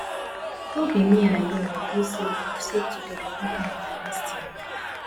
no be me and you agree say we go save together go canada next year